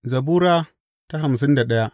Zabura Sura hamsin da daya